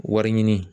Wari ɲini